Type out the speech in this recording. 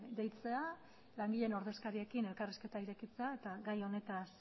deitzea langileen ordezkariekin elkarrizketa irekitzea eta gai honetaz